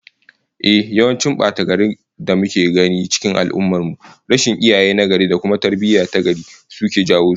Ehh, yawancin bata-garin da muke gani cikin al'ummar mu, rashin iyaye nagari da kuma tarbiyyah tagari suka jawo su